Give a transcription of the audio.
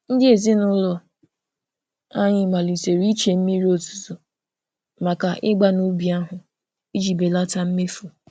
Ndị ezinụụlọ anyị malitere iche mmiri ozuzo maka ịgba n'ubi ahụ iji belata mmefu.